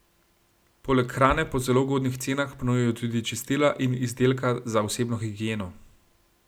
Poleg hrane po zelo ugodnih cenah ponujajo tudi čistila in izdelka za osebno higieno.